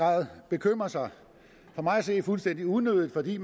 grad bekymre sig for mig at se fuldstændig unødigt fordi